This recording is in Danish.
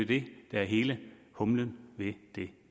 det der er hele humlen ved det